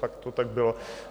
Fakt to tak bylo.